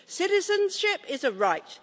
Citizenship is a right.